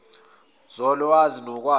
zol wazi nokwazi